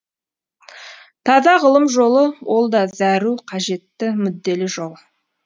таза ғылым жолы ол да зәру қажетті мүдделі жол